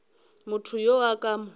motho yo a ka mo